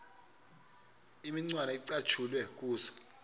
imicwana ecatshulwe kuzo